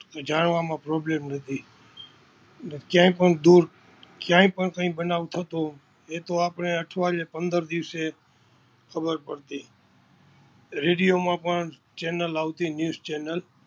જાણવામાં problem થતી. ક્યાંય પણ દૂર, ક્યાંય પણ બનાવ થતો એ તો આપણે અઠવાડીયે, પંદર દિવસે ખબર પડતી. Redio માં પણ Channal આવતી NewsChannal